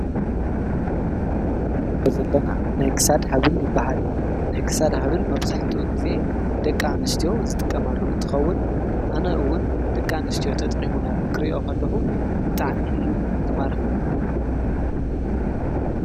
እዚ ንሪኦ ዘለና ናይ ክሳድ ሃብል ይባሃል፡፡ ናይ ክሳድ ሃብል መብዛሕትኡ ጊዜ ደቂ ኣንስትዮ ዝጥቀማሉ እንትኸውን ኣነ እውን ደቂ ኣንስትዮ ተጠቂመናሉ ክሪኦ ከለኹ ብጣዕሚ እዩ ዝማርኸኒ፡፡